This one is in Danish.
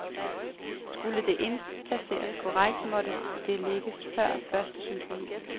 Skulle det indplaceres korrekt, måtte det lægges før første symfoni.